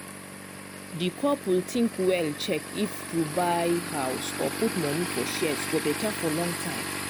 di couple think well check if to buy house or put money for shares go better for long time.